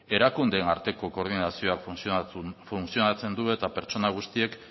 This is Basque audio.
erakundeen arteko koordinazioa funtzionatzen du eta pertsona guztiek